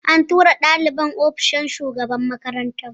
An tura ɗalibin ofishin shugaban makaranta